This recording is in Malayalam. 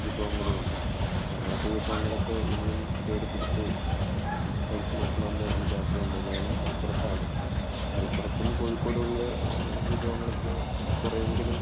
വിഭവങ്ങളുമുണ്ട്. അപ്പോൾ അങ്ങനത്തെ വിഭവങ്ങളൊക്കെ ഇനിയും തേടിപ്പിടിച്ച് കഴിച്ചുനോക്കണമെന്ന് എനിക്ക് ആഗ്രഹമുണ്ട്. ഞാൻ മലപ്പുറത്താണ്. മലപ്പുറത്തും കോഴിക്കോടുമുള്ള വിഭവങ്ങൾ കുറെയെങ്കിലും കുറെയെങ്കിലും